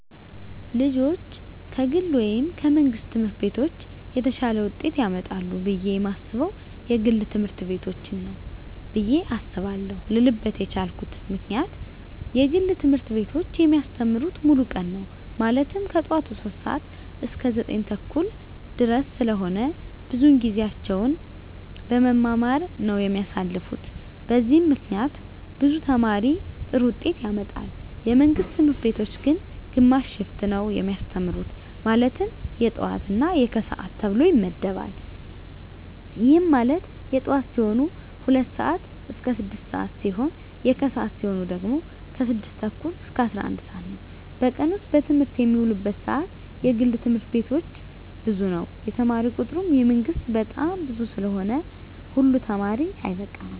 ልጆች ከግል ወይም ከመንግሥት ትምህርት ቤቶች የተሻለ ውጤት ያመጣሉ ብየ የማስበው የግል ትምህርት ቤቶችን ነው ብየ አስባለው ልልበት የቻልኩት ምክንያት የግል ትምህርት ቤቶች የሚያስተምሩት ሙሉ ቀን ነው ማለትም ከጠዋቱ 3:00 ሰዓት እስከ 9:30 ድረስ ስለሆነ ብዙውን ጊዜያቸውን በመማማር ነው የሚያሳልፉት በዚህም ምክንያት ብዙ ተማሪ ጥሩ ውጤት ያመጣል። የመንግስት ትምህርት ቤቶች ግን ግማሽ ሽፍት ነው የሚያስተምሩ ማለትም የጠዋት እና የከሰዓት ተብሎ ይመደባል ይህም ማለት የጠዋት ሲሆኑ 2:00 ስዓት እስከ 6:00 ሲሆን የከሰዓት ሲሆኑ ደግሞ 6:30 እስከ 11:00 ነው በቀን ውስጥ በትምህርት የሚውሉበት ሰዓት የግል ትምህርት ቤቶች ብዙ ነው የተማሪ ቁጥሩ የመንግስት በጣም ብዙ ስለሆነ ሁሉ ተማሪ አይበቃም።